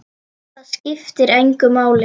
Það skiptir engu máli.